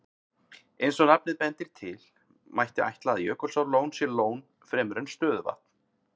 Eins og nafnið bendir til, mætti ætla að Jökulsárlón sé lón fremur en stöðuvatn.